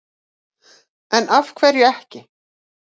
En af hverju ekki?